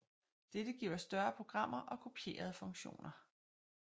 Dette giver større programmer og kopierede funktioner